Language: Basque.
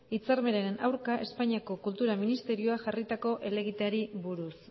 hitzarmenaren aurka espainiako kultura ministerioak jarritako helegiteari buruz